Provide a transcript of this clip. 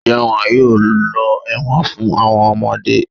Njẹ́ won yóò lọ ẹ̀wọ̀n fún àwọn ọmọdé.